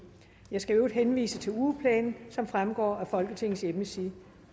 jeg skal i øvrigt henvise til ugeplanen som fremgår af folketingets hjemmeside